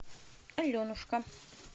аленушка